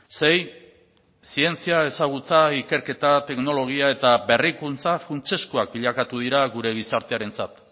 sei zientzia ezagutza ikerketa teknologia eta berrikuntza funtsezkoak bilakatu dira gure gizartearentzat